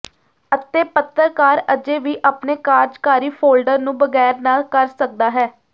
ਅਤੇ ਪੱਤਰਕਾਰ ਅਜੇ ਵੀ ਆਪਣੇ ਕਾਰਜਕਾਰੀ ਫੋਲਡਰ ਨੂੰ ਬਗੈਰ ਨਾ ਕਰ ਸਕਦਾ ਹੈ